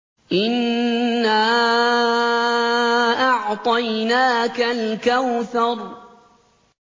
إِنَّا أَعْطَيْنَاكَ الْكَوْثَرَ